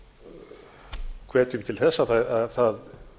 og hvetjum til þess að það